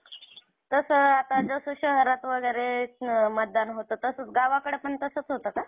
गणपतीपुळे, नंतर कोल्हापूरचं पन्हाळगड,